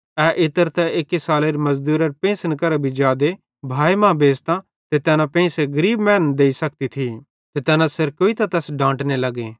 ए इत्र त एक्की सालेरी मज़दूरारे पेंइसन केरां भी जादे भाए मां बेच़तां ते तैना पेंइसे गरीब मैनन् देइ सकती थी ते तैना सेरकोइतां तैस सेइं डांटने लग्गे